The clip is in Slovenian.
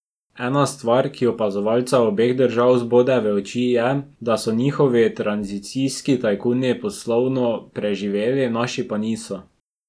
Ena stvar, ki opazovalca obeh držav zbode v oči, je, da so njihovi tranzicijski tajkuni poslovno preživeli, naši pa niso.